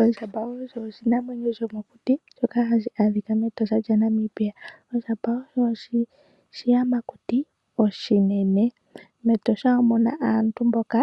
Ondjamba Osho oshinamwenyo shomokuti shoka hashi ashika meEtosha lyaNamibia. Ondjamba osho oshiyamakuti oshinene. MeEtosha omuna aantu mboka